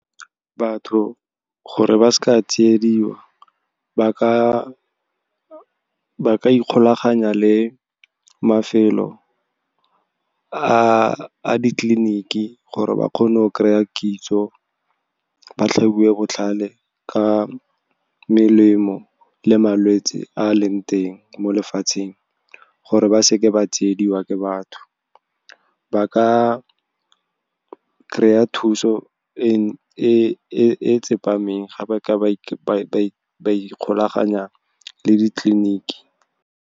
Batho gore ba ska tsiediwa, ba ka ikgolaganya le mafelo a ditleliniki gore ba kgone go kry-a kitso, ba tlhabiwe botlhale ka melemo le malwetse a leng teng mo lefatsheng, gore ba seke ba tsiediwa ke batho. Ba ka kry-a thuso e e tsepameng, ga ba ka ba ikgolaganya le ditleliniki.